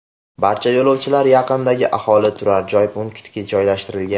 Barcha yo‘lovchilar yaqindagi aholi turar joy punktiga joylashtirilgan.